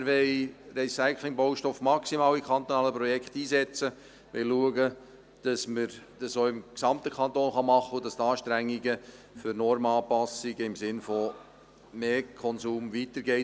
Wir wollen Recyclingbaustoffe in kantonalen Projekten maximal einsetzen, wollen schauen, dass man das auch im gesamten Kanton tun kann und dass die Anstrengung für Normanpassungen im Sinne von mehr Konsum weitergeht.